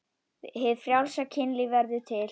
Hið frjálsa kynlíf verður til.